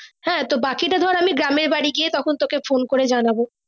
হ্যাঁ বাকি টা আমি গ্রামের বাড়ি গিয়ে তখন তোকে phone করে জানবো ।